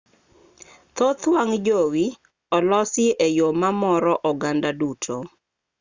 thoth wang' jowi olosi e yo mamoro oganda duto